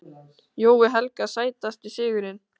Jói Helga Sætasti sigurinn?